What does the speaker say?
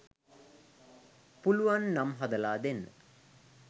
පුලුවන් නම් හදලා දෙන්න.